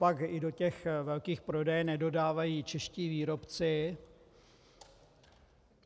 Copak i do těch velkých prodejen nedodávají čeští výrobci?